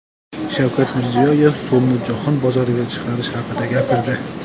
Shavkat Mirziyoyev so‘mni jahon bozoriga chiqarish haqida gapirdi .